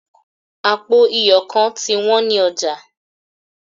apo iyo kan ti wan ni oja